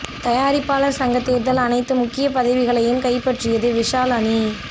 தயாரிப்பாளர் சங்கத் தேர்தல் அனைத்து முக்கிய பதவிகளையும் கைப்பற்றியது விஷால் அணி